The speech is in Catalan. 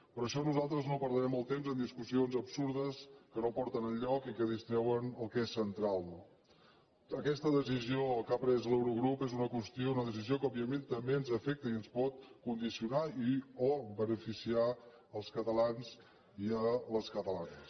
per això nosal·tres no perdrem el temps en discussions absurdes que no porten enlloc i que distreuen el que és central no aquesta decisió que ha pres l’eurogrup és una qües·tió una decisió que òbviament també ens afecta i ens pot condicionar i o beneficiar els catalans i les cata·lanes